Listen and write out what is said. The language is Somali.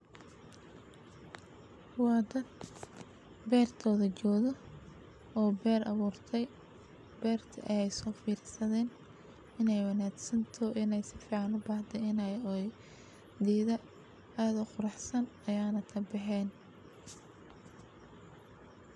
Waa daad beertooda jooda, oo beer abuurtaa... beerta ayeey soo filisadeen inay wanaagsan too inay sifcaano baahda inay ooy diida aado quruxsan ayaana taabixeen.